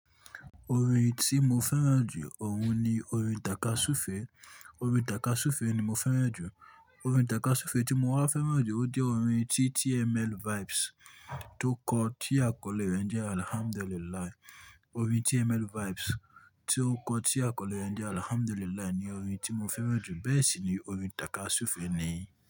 Orin tí mo fẹ́ràn jù ọ̀un ni orin Tàkasúfèé. Orin Tàkasúfèé ni mo fẹ́ràn jù. Orin Tàkasúfèé tí mo wá fẹ́ràn jù, ó jẹ́ orin tí TML Vibes tó kọ, tí àkọlé rẹ̀ jẹ́ Alhamdulillah. Orin TML Vibes tí ó kọ, tí àkọlé rẹ̀ jẹ́ Alhamdulillah ni orin tí mo fẹ́ràn jù. Bẹ́ẹ̀ sì ni orin Tàkasúfèé nìyí.